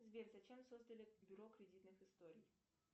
сбер зачем создали бюро кредитных историй